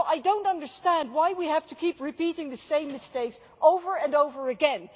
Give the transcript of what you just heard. So I do not understand why we have to keep repeating the same mistakes over and over again.